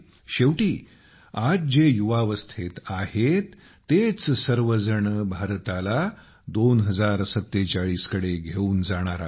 शेवटी आज जे युवावस्थेत आहेत तेच सर्वजण भारताला 2047 कडे घेऊन जाणार आहेत